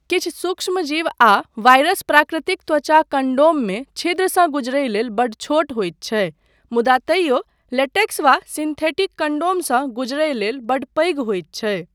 किछ सूक्ष्मजीव आ वायरस प्राकृतिक त्वचा कण्डोममे छिद्रसँ गुजरय लेल बड्ड छोट होइत छै मुदा तइयो लेटेक्स वा सिंथेटिक कण्डोमसँ गुजरय लेल बड्ड पैघ होइत छै।